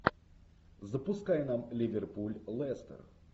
запускай нам ливерпуль лестер